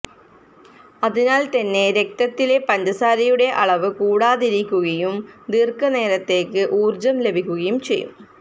അതിനാല് തന്നെ രക്തത്തിലെ പഞ്ചസാരയുടെ അളവ് കൂടാതിരിക്കുകയും ദീര്ഘനേരത്തേക്ക് ഊര്ജ്ജം ലഭിക്കുകയും ചെയ്യും